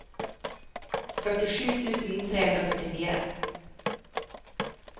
førtisju tusen tre hundre og førtifire